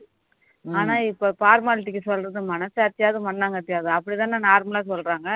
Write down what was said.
ஆனா இப்போ formality க்கு சொல்றது மனசாட்சியாவது மண்ணாங்கட்டியாவது அப்படி தானே normal லா சொல்றாங்க